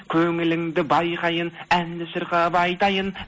көңіліңді байқайын әнді шырқап айтайын